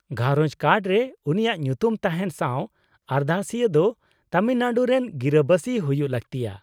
-ᱜᱷᱟᱸᱨᱚᱡᱽ ᱠᱟᱨᱰ ᱨᱮ ᱩᱱᱤᱭᱟᱜ ᱧᱩᱛᱩᱢ ᱛᱟᱦᱮᱱ ᱥᱟᱶ ᱟᱨᱫᱟᱥᱤᱭᱟᱹ ᱫᱚ ᱛᱟᱢᱤᱞᱱᱟᱲᱩ ᱨᱮᱱ ᱜᱤᱨᱟᱹ ᱵᱟᱹᱥᱤ ᱦᱩᱭᱩᱜ ᱞᱟᱹᱠᱛᱤᱜᱼᱟ ᱾